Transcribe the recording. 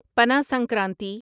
Pana Sankranti